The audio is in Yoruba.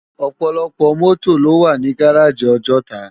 Òpòlòpò mòtó ló wá ni gáráji Òjòtá